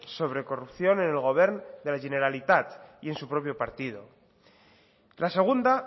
sobre corrupción en el govern de la generalitat y en su propio partido la segunda